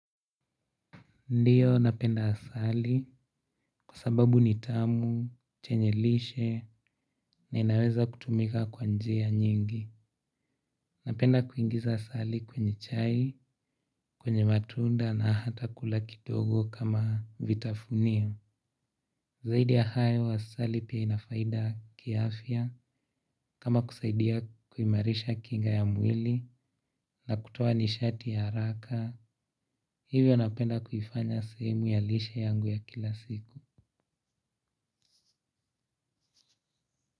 Ndiyo napenda asali kwa sababu ni tamu, chenye lishe na inaweza kutumika kwa njia nyingi. Napenda kuingiza asali kwenye chai, kwenye matunda na hata kula kidogo kama vitafunio. Zaidi ya hayo asali pia inafaida kiafya kama kusaidia kuimarisha kinga ya mwili na kutoa nishati ya haraka. Hivyo napenda kuifanya sehemu ya lishe yangu ya kila siku.